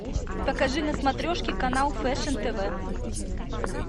покажи на смотрешке канал фэшн тв